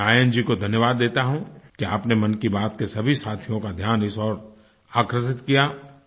मैं आयन जी को धन्यवाद देता हूँ कि आपने मन की बात के सभी साथियों का ध्यान इस ओर आकर्षित किया